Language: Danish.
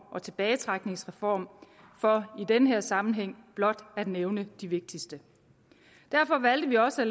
og tilbagetrækningsreform for i denne sammenhæng blot at nævne de vigtigste derfor valgte vi også at